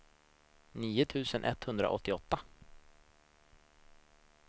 nio tusen etthundraåttioåtta